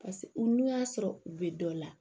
u n'u y'a sɔrɔ u bɛ dɔ la